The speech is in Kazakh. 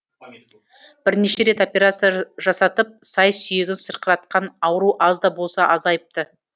бірнеше рет операция жасатып сай сүйегін сырқыратқан ауру аз да болса азайыпты